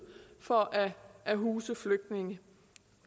for at at huse flygtninge